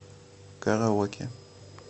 караоке